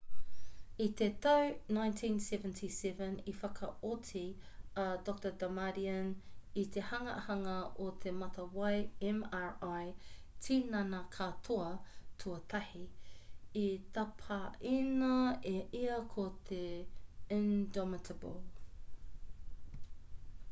i te tau 1977 i whakaoti a dr damadian i te hanganga o te matawai mri tinana-katoa tuatahi i tapaina e ia ko te indomitable